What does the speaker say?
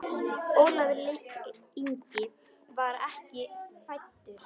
Ólafur Ingi var ekki fæddur.